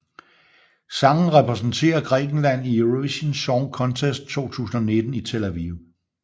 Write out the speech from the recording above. Sangen repræsenterer Grækenland i Eurovision Song Contest 2019 i Tel Aviv